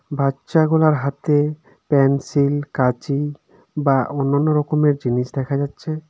বাচ্চাগুলার হাতে প্যানসিল কাঁচি বা অন্যান্য রকমের জিনিস দেখা যাচ্ছে.